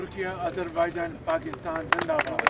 Türkiyə, Azərbaycan, Pakistan Zindabad!